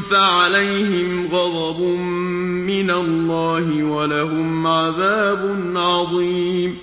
فَعَلَيْهِمْ غَضَبٌ مِّنَ اللَّهِ وَلَهُمْ عَذَابٌ عَظِيمٌ